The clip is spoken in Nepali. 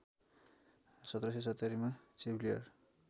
१७७० मा चेवलियर